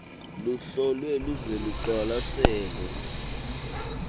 luhlolwe luze luqwalaselwe